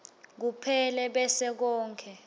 kuphela bese konkhe